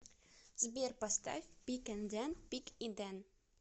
сбер поставь пиг энд дэн пиг и дэн